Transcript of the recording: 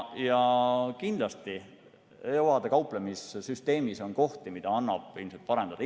Kindlasti on EUA‑dega kauplemise süsteemis kohti, mida annab parendada.